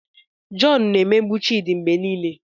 John na-emegbu Chidi mgbe niile